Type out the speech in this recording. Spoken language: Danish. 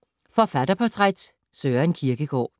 Forfatterportræt: Søren Kierkegaard